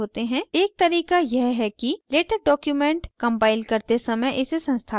एक तरीका यह है कि latex document कम्पाइल करते समय इसे संस्थापित करें